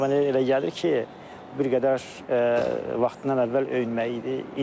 Amma mənə elə gəlir ki, bir qədər vaxtından əvvəl öyünmək idi.